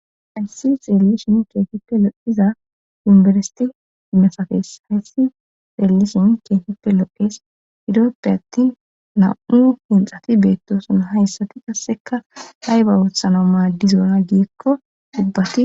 Ayssi xeellishin keetippe lo'iza yunberseti mesafees hayssi xeellishin keesippe loqes iroppe attin nam'u hinxati beettoson hayssati kasseka layba wuothano maaddizona giikko dubbati